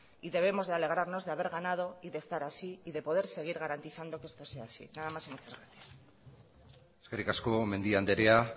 y debemos de alegrarnos de haber ganado de estar así y de poder seguir garantizando que esto sea así nada más y muchas gracias eskerrik asko mendia andrea